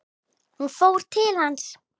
Hún fór til hans.